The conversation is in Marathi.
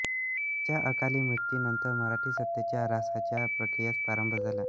त्याच्या अकाली मृत्यूनंतर मराठी सत्तेच्या ऱ्हासाच्या प्रक्रियेस प्रारंभ झाला